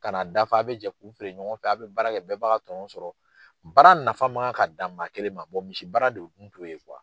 Ka na dafa a bɛ jɛ k'u feere ɲɔgɔn fɛ a bɛ baara kɛ bɛɛ b'a ka tɔnɔn sɔrɔ baara nafa man kan ka dan maa kelen ma misi baara de tun t'o ye